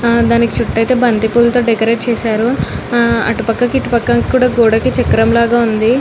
ఆ దానికి చుట్టూ అయితే ఇతి బతి పూలతో డెకోరేట్ చేసారు ఆ అటుపక్కకి ఇటుపక్కకి కూడా గోడకి చెక్రము లాగా ఉనది.